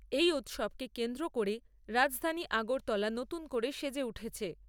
এই উৎসবকে কেন্দ্র করে রাজধানী আগরতলা নতুন করে সেজে উঠেছে।